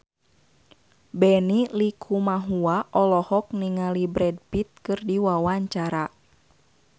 Benny Likumahua olohok ningali Brad Pitt keur diwawancara